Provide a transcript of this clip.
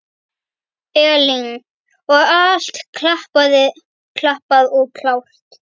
Elín: Og allt klappað og klárt?